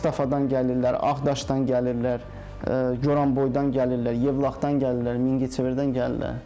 Ağstafadan gəlirlər, Ağdaşdan gəlirlər, Goranboydan gəlirlər, Yevlaxdan gəlirlər, Mingəçevirdən gəlirlər.